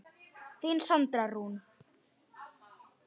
Þín Sandra Rún.